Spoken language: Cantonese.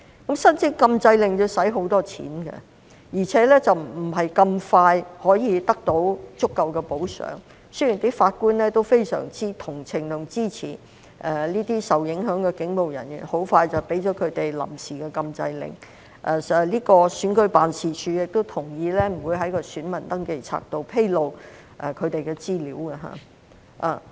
可是，申請禁制令需要花很多錢，而且不是很快可以得到足夠補救，儘管法官們相當同情和支持這些受影響的警務人員，很快便向他們發出了臨時禁制令，而選舉事務處亦同意不會在選民登記冊中披露他們的資料。